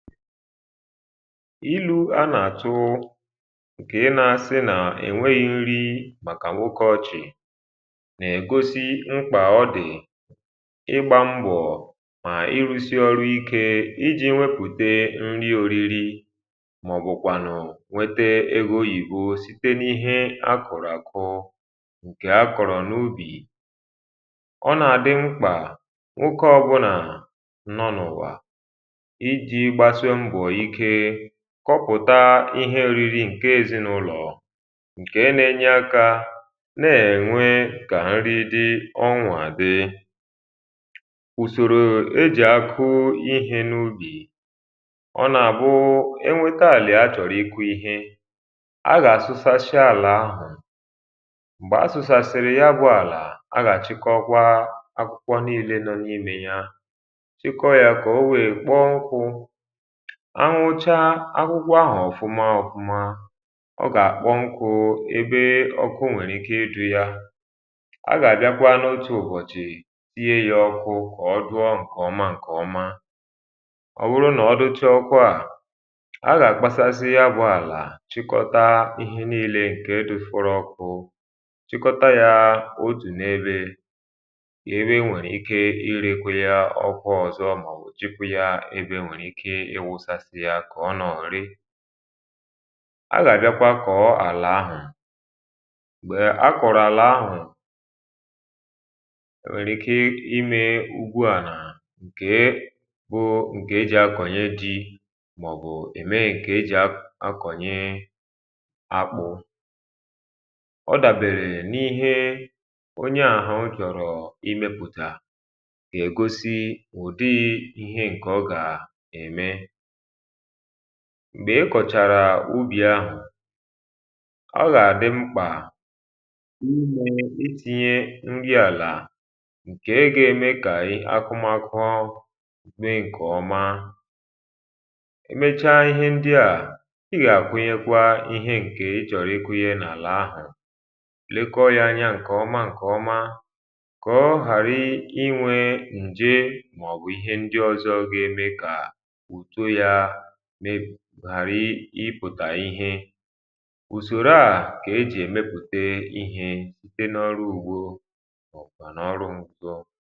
ilu̇ a nà-àtụ ǹkè ịnȧsị nà-ènweghi̇ nri um màkà nwoke ọchị̀ nà-ègosi mkpà ọ dị̀ ịgbȧ mbọ̀ mà i rusi ọrụ ikė ijì nwepùte nri oriri màọ̀bụ̀kwànụ̀ nwete egȯ ìhùȯ site n’ihe akọ̀rọ̀ àkọ ǹkè akọ̀rọ̀ n’ubì ọ nà-àdị mkpà nwoke ọbụnà kọpụ̀ta ihe òriri nke èzinàụlọ̀ um nke n’enye akȧ nà-ènwe kà nri di̇ ọṅwà dị ùsòrò ejì akụụ ihė n’ubì ọ nà-àbụụ enwėta àlà achọ̀rọ̀ iku̇ ihe a gà-àsụsasịa àlà ahụ̀ m̀gbè asụ̀sàsịrị ya bụ̇ àlà a gà-àchịkọ kwa akwukwo niile nọ n’imè ya chịkọ ya kà o wee kpọọ ṅkụ̇ anwụcha akwụkwọ ahụ ọ̀fụma ọ̀fụma ọ gà àkpọ nkụ̇ ebe ọkụ o nwèrè ike ịdu̇ ya a gà àbịakwa n’otù ụ̀bọ̀chị̀ ihe ya ọkụ kà ọ dụọ ǹkè ọma ǹkè ọma ọ̀ wụrụ nà ọ dụcha ọkụa à a gà àkpasasi abụọ àlà chịkọta ihe niilė ǹkè edufụrụ ọkụ chịkọta ya um o jù n’ebe ebe e nwèrè ike irekwu ya ọkụ ọ̀zọ màọbụ̀ jupu ya kà ọ nà ọ̀rị a gà àbịakwa kọ̀ọ àlà ahụ̀ m̀gbè a kọ̀rọ̀ àlà ahụ̀ nwèrè ike ime ugwu à nà ǹke bụ̇ ǹkè e jì akọ̀nyè dị màọ̀bụ̀ ème ǹkè e jì akọ̀nyè akpụ̇ ọ dàbèrè n’ihe onye àhụ jọ̀rọ̀ imepụ̀tà ègosi ụ̀dị ihe ǹkè ọ gà ème m̀gbe ikọ̀chàrà ubì ahụ̀ ọ gà-àdị mkpà iti̇nye ṅri àlà ǹkè ego eme kà akụmakụ me ǹkè ọma um emechaa ihe ndị à ị gà-àkwụnyekwa ihe ǹkè ị chọ̀rọ̀ ekwụghị n’àlà ahụ̀ lekọọ ya anya ǹkè ọma ǹkè ọma kọọ harị inwe ǹje mà ọ̀bụ̀ ihe ndị ọzọ ga-eme kà ipùtà ihe ùsòrò a kà ejì èmepùte ihe site n’ọrụ̇ ugbȯ bà n’ọrụ ṁpùtò